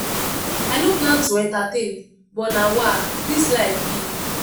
i no plan to entertain but na wah this life be!